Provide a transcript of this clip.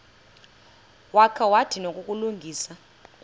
wakha wadinwa kukulungisa